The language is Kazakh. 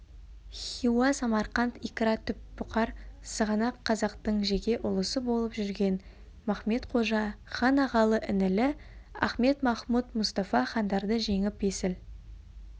хиуа самарқант икра-түп бұқар сығанақ қазақтың жеке ұлысы болып жүрген махмед-қожа хан ағалы-інілі ахмед-махмұд мұстафа хандарды жеңіп есіл